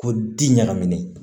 Ko di ɲɛnamini